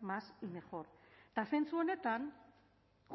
más y mejor eta zentzu honetan